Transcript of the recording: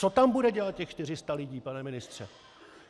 Co tam bude dělat těch 400 lidí, pane ministře?